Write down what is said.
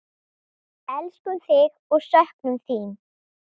Elskum þig og söknum þín.